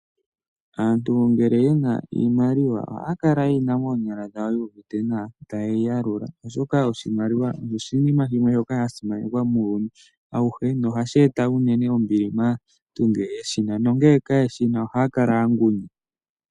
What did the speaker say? Aantu ngele ye na iimaliwa ohaya kala ye yi na moonyala dhawo yuuvite nawa, taye yi yalula, oshoka oshimaliwa osho oshinima shimwe shoka sha simanekwa muuyuni auhe nohashi eta unene ombili maantu ngele ye shi na nongele kaye shi na ohaa kala ya ngunya.